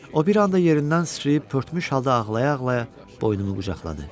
O bir anda yerindən sıçrayıb pörtmüş halda ağlaya-ağlaya boynumu qucaqladı.